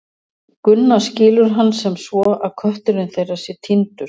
Gunna skilur hann sem svo að kötturinn þeirra sé týndur.